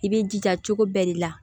I b'i jija cogo bɛɛ de la